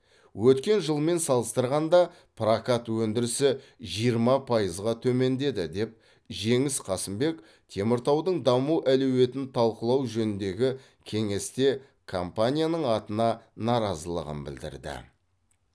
өткен жылмен салыстырғанда прокат өндірісі жиырма пайызға төмендеді деп жеңіс қасымбек теміртаудың даму әлеуетін талқылау жөніндегі кеңесте компанияның атына наразылығын білдірді